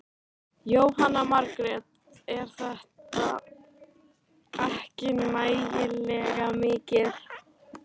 Jóhanna Margrét: Er þetta ekki nægilega mikið?